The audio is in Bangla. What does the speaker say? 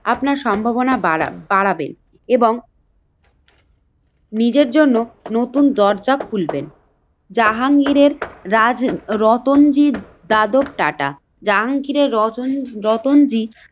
আপনার সম্ভাবনা বাড়ান বাড়াবেন এবং নিজের জন্য নতুন দরজা খুলবেন। জাহাঙ্গীরের রাজ রতঞ্জীব যাদব টাটা জাহাঙ্গীরের রচনরাতনজি